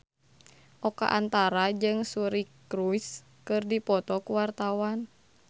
Oka Antara jeung Suri Cruise keur dipoto ku wartawan